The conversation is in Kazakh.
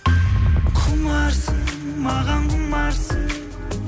құмарсың маған құмарсың